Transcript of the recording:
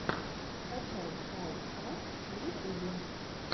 скачай хау каст в ютубе